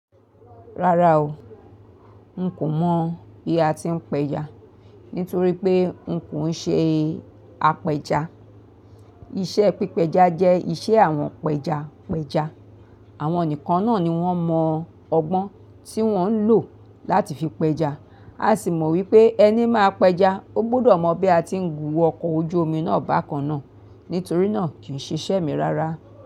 Rárá o, n kò mọ̀ bí a ti ń pẹja nítorí pé n kò ń ṣe apẹja. Iṣẹ́ pípa ẹja jẹ́ iṣẹ́ àwọn pẹjapẹja. Àwọn nìkan náàni wọ́n mo ọgbón tí wọ́n ń lo làti fi pẹja. A sì mọ wípé ẹni má pẹja, ó gbọ́dọ̀ mọ bí a ti ń gù ọkọ̀ ojú omi náà bákan náà. Nítorí náà kì ń ṣe iṣẹ́ mi rárá.